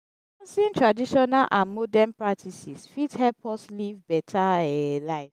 balancing traditional and modern practices fit help us live beta um life.